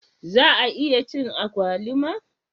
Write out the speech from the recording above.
Za a iya ci agwaluma?